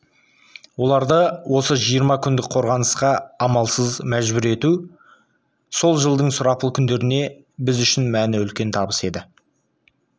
оларды осы жиырма күндік қорғанысқа амалсыз мәжбүр ету сол жылдың сұрапыл күндерінде біз үшін мәні үлкен табыс еді